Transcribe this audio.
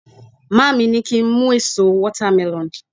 maami ni ki n mu eso watermelon